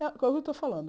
É é o que eu estou falando.